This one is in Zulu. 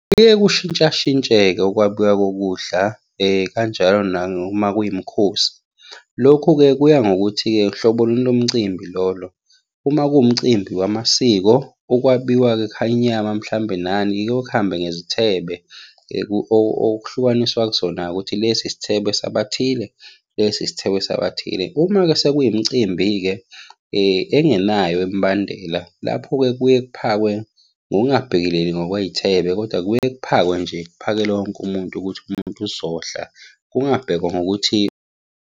Kuyeke kushintsha shintshe-ke ukwabiwa kokudla, kanjalo noma kuyimikhosi. Lokhu-ke kuya ngokuthi-ke hlobo luni lomcimbi lolo. Uma kuwumcimbi wamasiko, ukwabiwa-ke ekhaya inyama, mhlambe nani, kuyeke kuhambe ngezithebe. okuhlukaniswa kuzona-ke ukuthi lesi isithebe sabathile, lesi isithebe sabathile. Uma-ke sekuyimicimbi-ke engenayo imibandela, lapho-ke kuye kuphakwe ngokungabhekeleli ngokwey'thebe, kodwa kuye kuphakwe nje kuphakelwe wonke umuntu ukuthi umuntu uzodla, kungabhekwa ngokuthi.